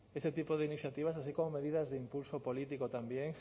este tipo de iniciativas así como medidas de impulso político también